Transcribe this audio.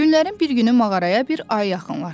Günlərin bir günü mağaraya bir ayı yaxınlaşdı.